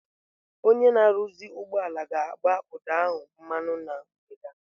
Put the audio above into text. Onye na-arụzi ụgbọala ga-agbụ ụdọ ahụ mmanụ na mgbede a.